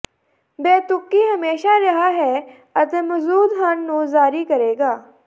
ਬੇਤੁਕੀ ਹਮੇਸ਼ਾ ਰਿਹਾ ਹੈ ਅਤੇ ਮੌਜੂਦ ਹਨ ਨੂੰ ਜਾਰੀ ਕਰੇਗਾ